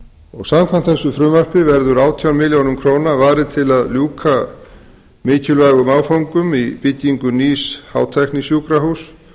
heilbrigðisþjónusta samkvæmt þessu frumvarpi verður átján milljörðum króna varið til að ljúka mikilvægum áföngum í byggingu nýs hátæknisjúkrahúss